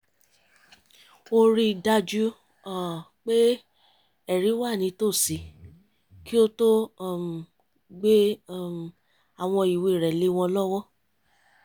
ó rí i dájú pé ẹ̀rí wà nìtòsí kí ó tó um gbé um àwọn ìwé rẹ̀ lé wọn lọ́wọ́